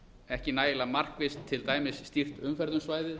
ekki nægilega markvisst til dæmis stýrt umferð um svæðið